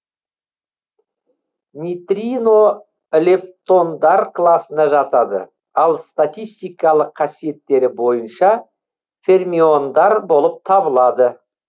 нейтрино лептондар класына жатады ал статистикалық қасиеттері бойынша фермиондар болып табылады